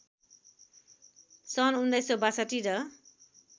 सन् १९६२ र